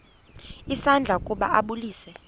isandla ukuba ambulise